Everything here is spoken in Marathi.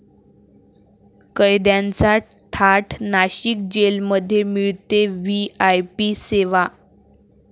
कैद्यांचा थाट, नाशिक जेलमध्ये मिळते व्हीआयपी सेवा